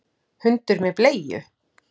Hundur með bleiu!